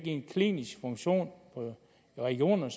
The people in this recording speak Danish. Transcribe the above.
en klinisk funktion i regionerne